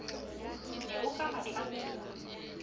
ne o ka ba tlamella